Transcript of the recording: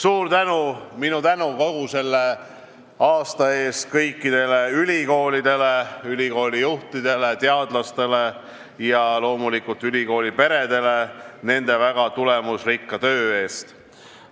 Minu suur tänu kogu selle aasta eest kõikidele ülikoolidele, ülikoolijuhtidele, teadlastele ja loomulikult ülikooliperedele nende väga tulemusrikka töö eest!